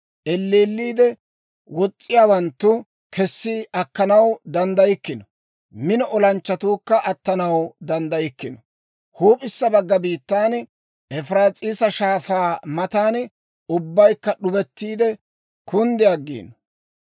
Elleelliide wos's'iyaawanttu kessi akkanaw danddaykkino; mino olanchchatuukka attanaw danddaykkino. Huup'issa bagga biittan, Efiraas'iisa Shaafaa matan ubbaykka d'ubettiide kunddi aggiino.